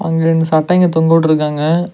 அங்க ரெண்டு சட்டைங்க தொங்க உட்டுருக்காங்க.